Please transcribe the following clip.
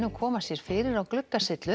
koma sér fyrir á